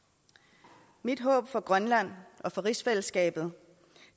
i mit håb for grønland og for rigsfællesskabet